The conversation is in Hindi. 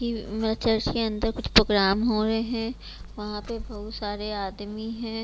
चर्च के अंदर कुछ प्रोग्राम हो रहे हैं वहां पे बहुत सारे आदमी है।